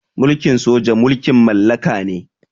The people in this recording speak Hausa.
Mulkin soja mulkin mallaka ne.